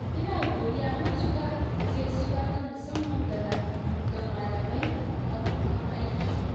ina godiya matuƙa da gaisuwa ta musamman ga malamai abokan aiki.